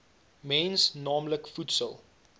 mens naamlik voedsel